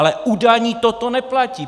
Ale u daní toto neplatí!